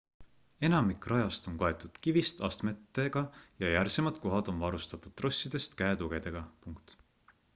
enamik rajast on kaetud kivist astmetega ja järsemad kohad on varustatud trossidest käetugedega